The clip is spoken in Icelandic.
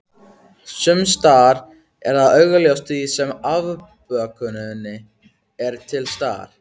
Sumsstaðar er það augljóst því sama afbökunin er til staðar.